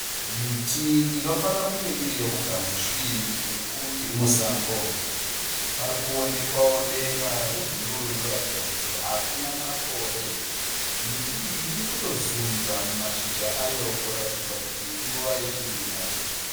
Miti inofanira kunge iri yomugamutiri iri musango. Pari kuwonekwawo denga rebhuruu rinoratidza kuti hakuna makore. Miti iyi iri kutozunza mashizha ayo kuratidza kuti inguva yechirimo.